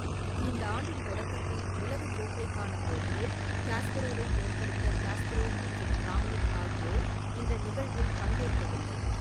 இந்த ஆண்டின் தொடக்கத்தில் உலக கோப்பைக்கான போட்டியில் காஸ்பரோவை தோற்கடித்த காஸ்பரோவ் மற்றும் கிராம்னிக் ஆகியோர் இந்த நிகழ்வில் பங்கேற்கவில்லை.